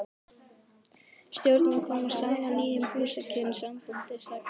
Stjórnin kom saman í nýjum húsakynnum sambandsins að Garðastræti